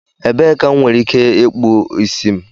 Ebee ka m nwere ike ịkpụ isi m?